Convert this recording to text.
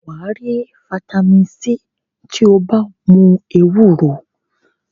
Wà á rí fataímìn C tí ó bá mu ewúro.